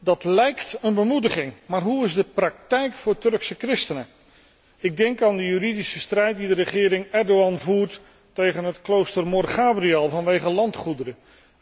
Dat lijkt een bemoediging, maar hoe is de praktijk voor Turkse christenen? Ik denk aan de juridische strijd die de regering Erdoğan voert tegen het klooster Mor Gabriel vanwege landgoederen.